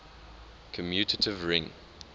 commutative ring